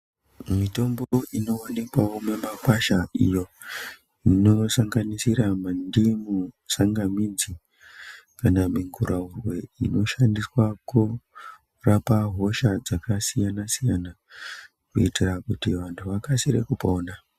Mitombo inowanikwawo mimakwasha iyo inosanganisira mandimu tsanga midzi kana miguraurwe inoshandiswa kurapa hosha dzakasiyana siyana kuitira kuti vanhu vakasire kupona .